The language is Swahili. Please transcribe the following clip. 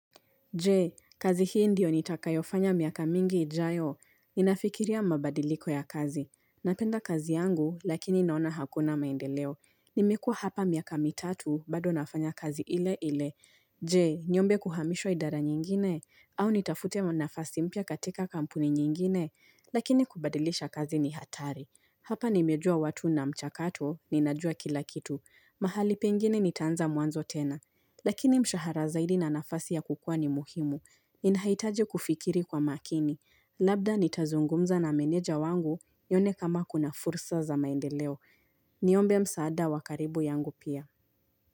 Jee kazi hii ndiyo nitakayofanya miaka mingi ijayo. Ninafikiria mabadiliko ya kazi. Napenda kazi yangu lakini naona hakuna maendeleo. Nimekuwa hapa miaka mitatu bado nafanya kazi ile ile. Jee niombe kuhamishwa idara nyingine? Au nitafute nafasi mpya katika kampuni nyingine? Lakini kubadilisha kazi ni hatari. Hapa nimejua watu na mchakato ninajua kila kitu. Mahali pengine nitaanza mwanzo tena. Lakini mshahara zaidi na nafasi ya kukua ni muhimu. Inahitaje kufikiri kwa makini. Labda nitazungumza na meneja wangu nione kama kuna fursa za maendeleo. Niombe msaada wa karibu yangu pia.